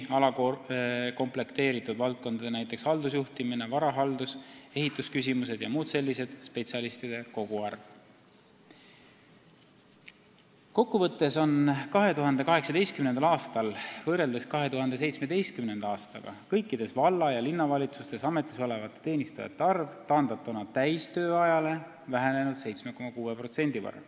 Kokku võttes on 2018. aastal võrreldes 2017. aastaga kõikides valla- ja linnavalitsustes ametis olevate teenistujate arv taandatuna täistööajale vähenenud 7,6% võrra.